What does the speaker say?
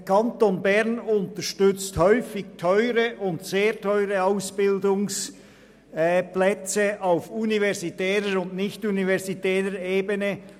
Der Kanton Bern unterstützt häufig teure bis sehr teure Ausbildungsplätze auf universitärer und nichtuniversitärer Ebene.